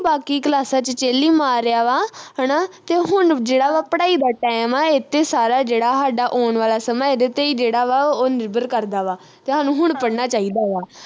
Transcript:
ਬਾਕੀ ਕਲਾਸਾਂ ਵਿਚ chill ਈ ਮਾਰ ਲਿਆ ਵਾ ਹਣਾ ਤੇ ਹੁਣ ਜਿਹੜਾ ਵਾਂ ਪੜ੍ਹਾਈ ਦਾ time ਐ ਇਥੇ ਸਾਰਾ ਜਿਹੜਾ ਹਾਡਾ ਆਉਣ ਵਾਲਾ ਸਮਾਂ ਇਹਦੇ ਤੇ ਈ ਜਿਹੜਾ ਵਾ ਉਹ ਨਿਰਭਰ ਕਰਦਾ ਵਾ ਤੇ ਹਾਨੂੰ ਹੁਣ ਪੜਣਾ ਚਾਹੀਦਾ ਵਾ